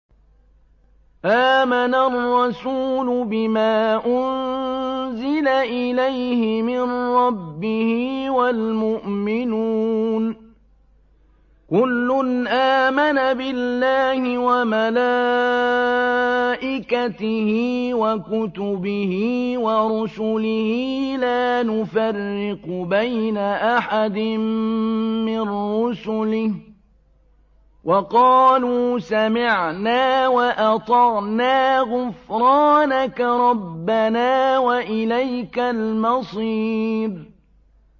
آمَنَ الرَّسُولُ بِمَا أُنزِلَ إِلَيْهِ مِن رَّبِّهِ وَالْمُؤْمِنُونَ ۚ كُلٌّ آمَنَ بِاللَّهِ وَمَلَائِكَتِهِ وَكُتُبِهِ وَرُسُلِهِ لَا نُفَرِّقُ بَيْنَ أَحَدٍ مِّن رُّسُلِهِ ۚ وَقَالُوا سَمِعْنَا وَأَطَعْنَا ۖ غُفْرَانَكَ رَبَّنَا وَإِلَيْكَ الْمَصِيرُ